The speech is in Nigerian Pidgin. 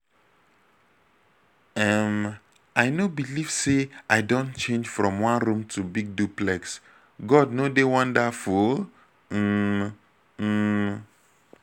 um i no believe say i don change from one room to big duplex. god no dey wonderful um? um?